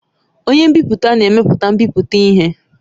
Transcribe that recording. Onye nbipute na-emepụta mbipụta ihe.